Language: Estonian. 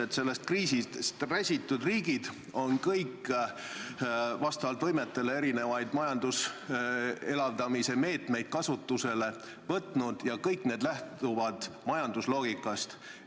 Kõik sellest kriisist räsitud riigid on vastavalt võimetele võtnud kasutusele erisuguseid majanduse elavdamise meetmeid ja kõik need lähtuvad majandusloogikast.